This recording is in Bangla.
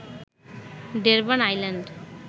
Durban island